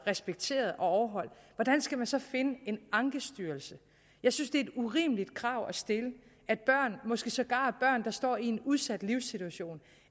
respekteret og overholdt hvordan skal man så finde ankestyrelsen jeg synes det er et urimeligt krav at stille at børn og måske sågar børn der står i en udsat livssituation